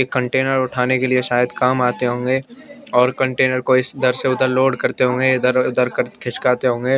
एक कंटेनर उठाने के लिए सायद काम आते होंगे और कंटेनर को इदर से उदर लोड करते होंगे इदर इदर खिसकाते होंगे।